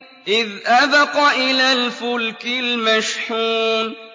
إِذْ أَبَقَ إِلَى الْفُلْكِ الْمَشْحُونِ